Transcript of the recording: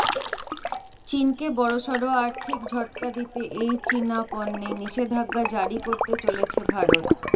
চীনকে বড়সড় আর্থিক ঝটকা দিতে এই চীনা পণ্যে নিষেধাজ্ঞা জারি করতে চলেছে ভারত